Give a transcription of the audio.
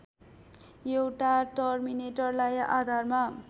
एउटा टर्मिनेटरलाई आधारमा